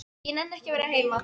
Ég nenni ekki að vera heima.